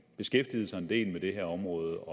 beskæftiget sig en del med det her område